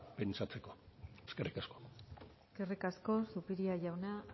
pentsatzeko eskerrik asko eskerrik asko zupiria jauna